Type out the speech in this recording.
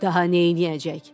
Daha neyniyəcək?